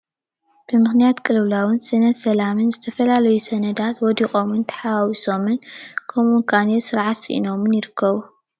ብምክንያት ቅልውላውን ስእነት ሰላምን ዝተፈላለዩ ሰነዳት ወዲቆምን ተሓዋዊሶምን ከምኡ ክዓነይ ስርዓት ስኢኖምን ይርከቡ።